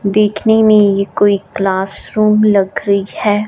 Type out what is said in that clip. देखने में ये कोई क्लासरूम लग रही है।